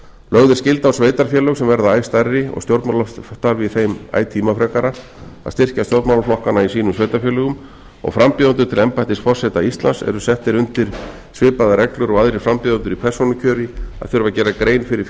lögð er skylda á sveitarfélög sem verða æ stærri og stjórnmálastarf í þeim æ tímafrekara að styrkja stjórnmálaflokkana í sínum sveitarfélögum og frambjóðendur til embættis forseta íslands eru settir undir svipaðar reglur og aðrir frambjóðendur í persónukjöri að þurfa að gera grein fyrir